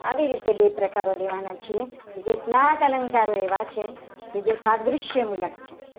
આવી રીતે બે પ્રકારો લેવાના છીએ. કે જ્યાં સાત અલંકારો એવા છે. કે જે શારીરિક્ય મુલસ છે.